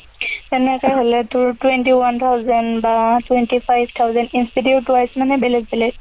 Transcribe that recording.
তেনেকে হলে তোৰ twenty-one thousand বা twenty five thousand institute wise মানে বেলেগ বেলেগ।